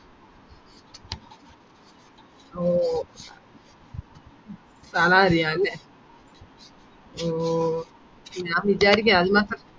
ഓ സ്ഥലറിയാലേ ഓ ഞാൻ വിചാരിക്ക